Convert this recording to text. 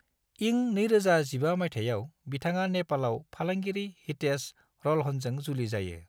इं 2015 माइथायाव बिथाङा नेपालाव फालांगिरि हितेश रल्हनजों जुलि जायो।